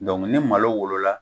ni malo wolola